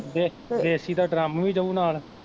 ਦੇ ਦੇਸੀ ਦਾ ਡ੍ਰਮ ਵੀ ਜਾਉ ਨਾਲ਼